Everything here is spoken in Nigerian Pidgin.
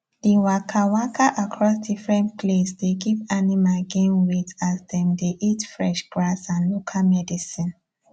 the waka waka across different place dey give animal gain weight as them dey eat fresh grass and local medicine